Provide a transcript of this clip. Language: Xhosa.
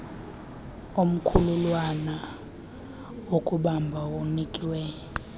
omkhulwana wokubamba unikiwe